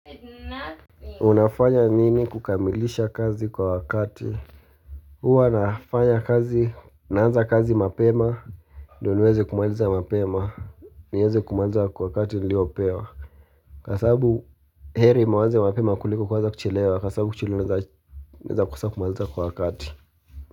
Unafanya nini kukamilisha kazi kwa wakati? Huwa nafanya kazi, naanza kazi mapema, niniweze kumaliza mapema, niniweze kumaliza kwa wakati niliopewa. Kasabu heri muanze mapema kuliko kuanza kuchelewa, kasabu kuchelewa uweza kumaliza kwa wakati.